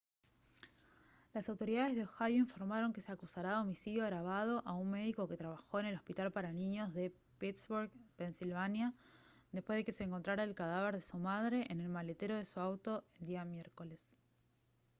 las autoridades de ohio informaron que se acusará de homicidio agravado a un médico que trabajó en el hospital para niños de pittsburgh pensilvania después de que se encontrara el cadáver de su madre en el maletero de su auto el día miércoles